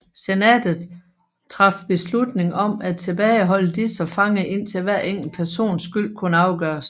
Senatet traf beslutning om at tilbageholde disse fanger indtil hver enkelt persons skyld kunne afgøres